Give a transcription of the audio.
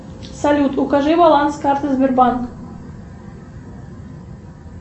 салют укажи баланс карты сбербанк